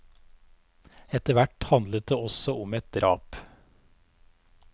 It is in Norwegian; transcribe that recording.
Etterhvert handlet det også om et drap.